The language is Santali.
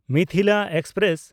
ᱢᱤᱛᱷᱤᱞᱟ ᱮᱠᱥᱯᱨᱮᱥ